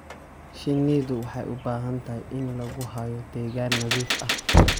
Shinnidu waxay u baahan tahay in lagu hayo deegaan nadiif ah.